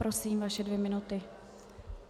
Prosím vaše dvě minuty.